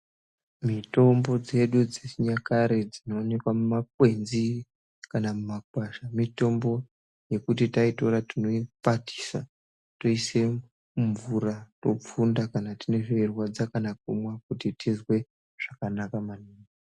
Mitombo dzedu dzechinyakare dzinowanikwa mumakwenzi kana muma kwasha , mitombo yekuti taitora tinoipakisa toise mumvura ,topfunda kana tine zveirwadza kana kumwa kuti tizwe zvakanaka maningi.